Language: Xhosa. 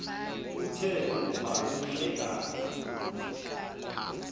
kuthe kuba umhlekazi